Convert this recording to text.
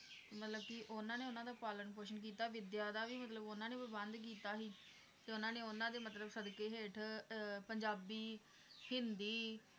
ਮਤਲਬ ਕਿ ਉਹਨਾਂ ਨੇ ਉਹਨਾਂ ਦਾ ਪਾਲਣ ਪੋਸ਼ਣ ਕੀਤਾ ਵਿਦਿਆ ਦਾ ਵੀ ਮਤਲਬ ਉਹਨਾਂ ਨੇ ਪ੍ਰਬੰਧ ਕੀਤਾ ਸੀ ਤੇ ਉਹਨਾਂ ਨੇ ਉਹਨਾਂ ਦੇ ਮਤਲਬ ਸਦਕੇ ਹੇਠ ਅਹ ਪੰਜਾਬੀ, ਹਿੰਦੀ,